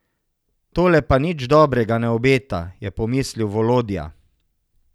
Tole pa nič dobrega ne obeta, je pomislil Volodja.